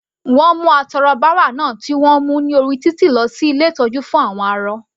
Wọ́n mú atọrọbárà náà tí wọ́n mú ní orí títì lọ sí ilé ìtọ́jú fún àwọn arọ.